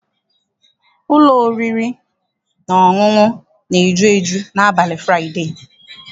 Ụlọ oriri na ọṅụṅụ na-eju eju n'abalị Fụraịdee.